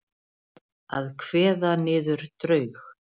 Að kveða niður draug